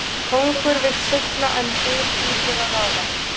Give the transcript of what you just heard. Kóngur vill sigla en byr hlýtur að ráða.